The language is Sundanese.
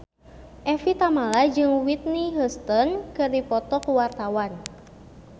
Evie Tamala jeung Whitney Houston keur dipoto ku wartawan